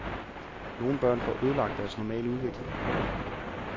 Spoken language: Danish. Nogle børn får ødelagt deres normale udvikling.